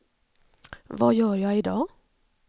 vad gör jag idag